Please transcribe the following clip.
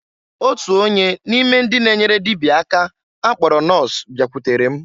Otu onye n'ime ndị na-enyere dịbịa aka akpọrọ nọs bịakwutere m.